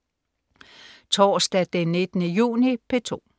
Torsdag den 19. juni - P2: